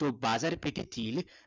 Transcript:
तो बाजारपेठेतील